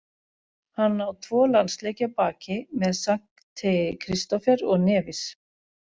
Hann á tvo landsleiki að baki með Sankti Kristófer og Nevis.